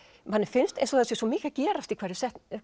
manni finnst eins og það sé svo mikið að gerast í hverri